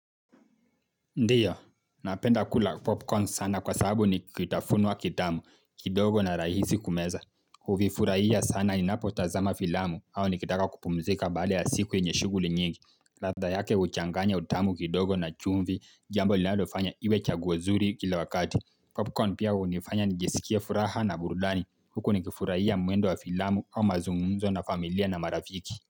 Ndio, napenda kula popcorn sana kwa sababu nikitafunwa kitamu, kidogo na rahisi kumeza. Huvifurahia sana ninapotazama filamu, au nikitaka kupumzika baada ya siku yenye shuguli nyingi. Ladha yake huchanganya utamu kidogo na chumvi, jambo linalofanya iwe chaguo zuri kila wakati. Popcorn pia hunifanya nijisikie furaha na burdani. Huku nikifurahia mwendo wa filamu au mazungumzo na familia na marafiki.